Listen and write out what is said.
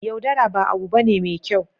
yaudara ba abu bane me kyau